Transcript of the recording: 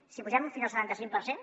si pugem fins al setanta cinc per cent